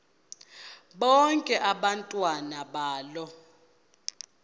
bonke abantwana balo